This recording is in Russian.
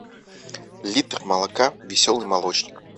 литр молока веселый молочник